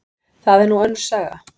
Það er nú önnur saga.